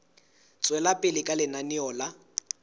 tswela pele ka lenaneo la